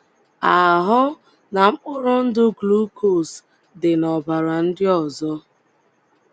ahụ́ na mkpụrụ ndụ glucose dị n’ọbara ndị ọzọ.